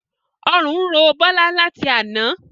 Ọrùn ń ro Bola láti àna